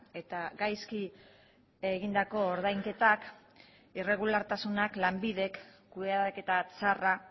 eta gaizki egindako ordainketak irregulartasunak lanbidek kudeaketa txarra